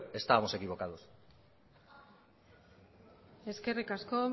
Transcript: estábamos equivocados eskerrik asko